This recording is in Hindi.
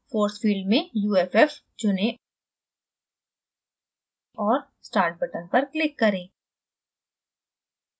force field में uff चुनें और start button पर click करें